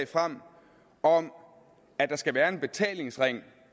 frem om at der skal være en betalingsring